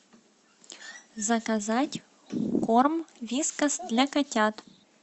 заказать корм вискас для котят